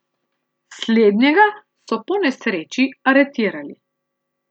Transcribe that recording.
Slednjega so po nesreči aretirali.